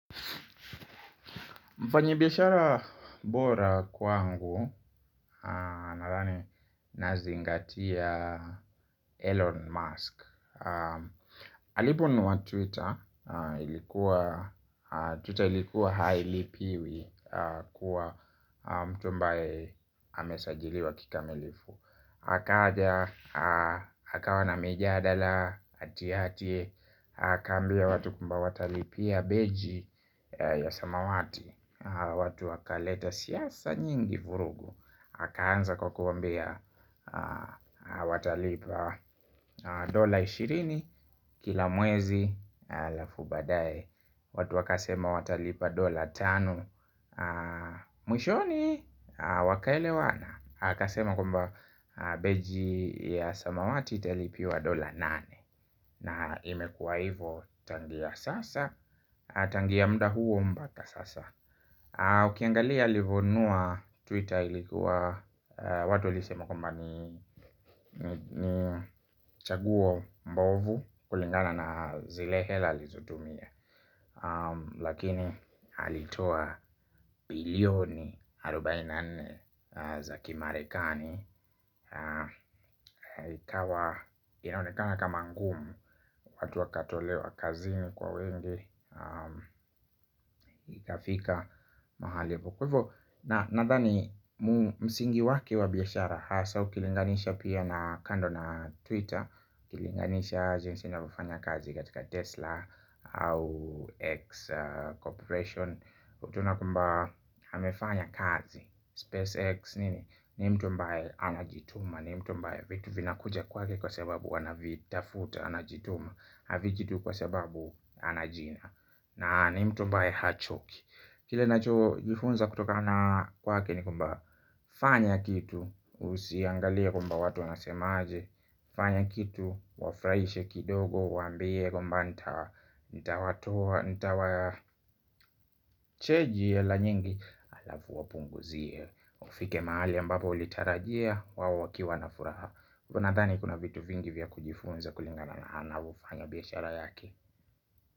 Mfanyibishara bora kwangu aa nazingati ya Elon Musk. Aliponunua Twitter, ilikuwa Twitter ilikuwa hailipiwi kuwa mtu ambaye amesajiliwa kikamilifu akaja, akawa na mijadala, atiati akaambia watu kwamba watalipia beji ya samawati. Watu wakaleta siasa nyingi vurugu akanza kwa kuwaambia watalipa dola ishirini kila mwezi halafu baadaye watu wakasema watalipa dola tanu. Mwishoni wakaelewana akasema kwamba beji ya samawati italipiwa dola nane na imekuwa hivo tangia sasa tangia muda huo mpaka sasa. Ukiangalia alivonunua twitter ilikuwa watu walisema kwamba nii ni ni chaguo mbovu kulingana na zile hela alizotumia lakini alitoa bilioni arubaini na nne za kimarekani. Ikawa inaonekana kama ngumu. Watu wakatolewa kazini kwa wengi. Ikafika mahali kwaivo na nadhani msingi wake wa biashara hasa ukilinganisha pia na kando na twitter ukilinganisha jinsi inavyofanya kazi katika Tesla Au X Corporation ukiona kwamba amefanya kazi SpaceX nini? Ni mtu ambaye anajituma ni mtu ambaye vitu vinakuja kwake kwa sababu anavitafuta, anajituma havijitu kwa sababu ana jina. Na ni mtu ambaye hachoki kile nacho jifunza kutokana kwake ni kwamba fanya kitu, usiangalie kwamba watu wanasema aje fanya kitu, wafrahishe kidogo, waambie kwamba nta ntawatoa, ntawaa cheji hela nyingi halafu wapunguzie ufike mahali ambapo ulitarajia, wao wakiwa na furaha nadhani kuna vitu vingi vya kujifunza kulingana anavofanya biashara yake.